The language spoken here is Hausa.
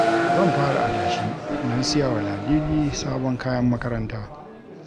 Zan fara adashi don siya wa Ladidi sabon kayan makaranta